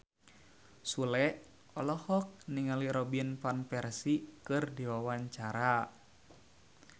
Sule olohok ningali Robin Van Persie keur diwawancara